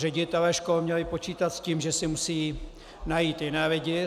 Ředitelé škol měli počítat s tím, že si musí najít jiné lidi.